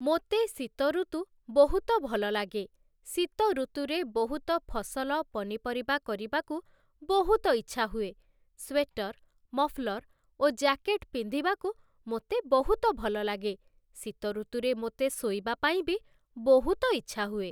ମୋତେ ଶୀତ ଋତୁ ବହୁତ ଭଲ ଲାଗେ ।ଶୀତ ଋତୁରେ ବହୁତ ଫସଲ ପନିପରିବା କରିବାକୁ ବହୁତ ଇଚ୍ଛା ହୁଏ । ସ୍ଵେଟର୍, ମଫଲର୍ ଓ ଜ୍ୟାକେଟ୍ ପିନ୍ଧିବାକୁ ମୋତେ ବହୁତ ଭଲ ଲାଗେ ।ଶୀତ ଋତୁରେ ମୋତେ ଶୋଇବା ପାଇଁ ବି ବହୁତ ଇଚ୍ଛା ହୁଏ ।